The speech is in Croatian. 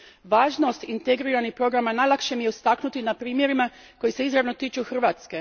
Važnost integriranih programa najlakše mi je istaknuti na primjerima koji se izravno tiču Hrvatske.